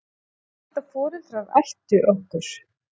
Ég hélt að foreldrar ættu okkur.